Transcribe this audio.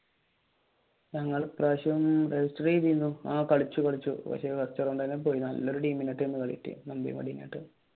ഞങ്ങൾ ഈ പ്രാവിശ്യം register ചെയ്തിരുന്നു ആഹ് കളിച്ചു കളിച്ചു